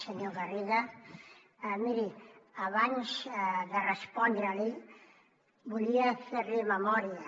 senyor garriga miri abans de respondre li volia fer li memòria